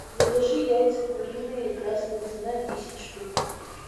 закажи яйца куриные красная цена десять штук